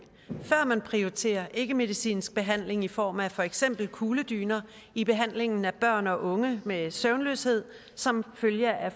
før man prioriterer ikkemedicinsk behandling i form af for eksempel kugledyner i behandlingen af børn og unge med søvnløshed som følge af